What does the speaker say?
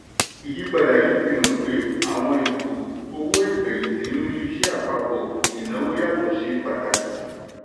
ìyípadà yìí fihàn pé àwọn ètò owó ìfẹ̀yìntì rí ìṣe àpapọ̀ ìnáwó yàtọ̀ ṣe pàtàkì.